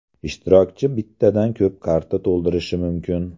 Ishtirokchi bittadan ko‘p karta to‘ldirishi mumkin.